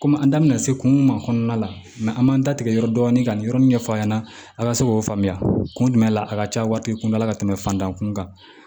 Komi an danminna se kun ma kɔnɔna la an b'an da tigɛ yɔrɔ dɔɔni ka nin yɔrɔ min ɲɛf'a ɲɛna a ka se k'o faamuya kun jumɛn la a ka ca waritigi kun la ka tɛmɛ fantanw kun kan